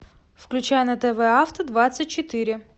включай на тв авто двадцать четыре